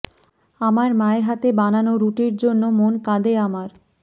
আমার মায়ের হাতে বানানো রুটির জন্য মন কাঁদে আমার